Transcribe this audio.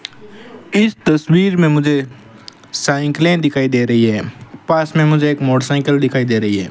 इस तस्वीर में मुझे साइकिलें दिखाई दे रही है पास में मुझे एक मोटरसाइकल दिखाई दे रही है।